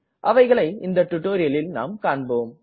அவைகளை இந்த டுட்டோரியலில் நாம் காண்போம்